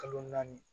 Kalo naani